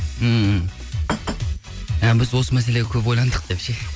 ммм біз осы мәселеге көп ойландық деп ше